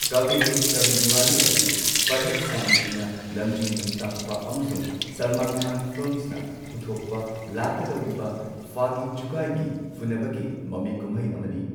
ꯀꯚꯤ ꯏꯗ ꯀꯚꯤ ꯗꯤꯋꯥꯂꯤ ꯑꯁꯤ ꯐꯔꯍꯗ ꯁꯥꯝꯖꯤꯅ ꯂꯝꯖꯤꯡ ꯂꯝꯇꯥꯛꯄ ꯑꯃꯁꯨꯡ ꯁꯜꯃꯥꯟ ꯈꯥꯟ ꯐꯤꯜꯝꯁꯅ ꯄꯨꯊꯣꯛꯄ ꯂꯥꯛꯀꯗꯧꯔꯤꯕ ꯐꯥꯒꯤ ꯖꯨꯒꯥꯏꯒꯤ ꯐꯨꯅꯕꯒꯤ ꯃꯃꯤ ꯀꯨꯝꯍꯩ ꯑꯃꯅꯤ꯫